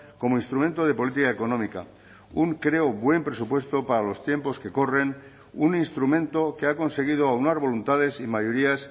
como instrumento de política económica un creo buen presupuesto para los tiempos que corren un instrumento que ha conseguido aunar voluntades y mayorías